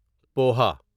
poha